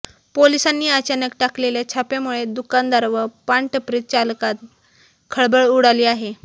पोलीसांनी अचानक टाकलेल्या छाप्यामुळे दुकानदार व पानटपरी चालकांत खळबळ उडाली आहे